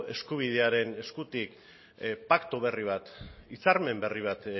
eskubidearen eskutik paktu berri bat hitzarmen berri bat